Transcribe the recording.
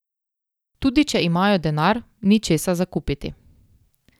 Tudi če imajo denar, ni česa za kupiti.